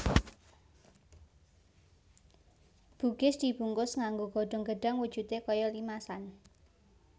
Bugis dibungkus nganggo godhong gedhang wujudé kaya limasan